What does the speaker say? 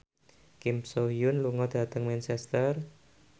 Kim So Hyun lunga dhateng Manchester